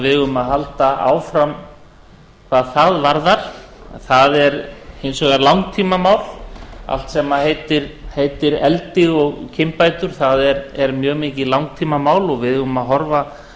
eigum að halda áfram hvað það varðar en það er hins vegar langtímamál allt sem heitir eldi og kynbætur það er mjög mikið langtímamál og við eigum að horfa